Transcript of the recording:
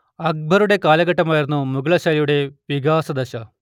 അക്ബറുടെ കാലഘട്ടമായിരുന്നു മുഗളശൈലിയുടെ വികാസദശ